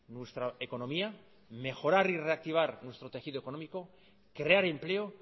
nuestra economía mejorar y reactivar nuestro tejido económico crear empleo